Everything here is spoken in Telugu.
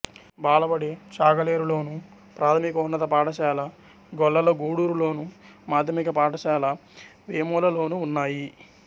బాలబడి చాగలేరులోను ప్రాథమికోన్నత పాఠశాల గొల్లలగూడూరులోను మాధ్యమిక పాఠశాల వేములలోనూ ఉన్నాయి